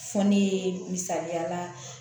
Fɔ ne misaliya la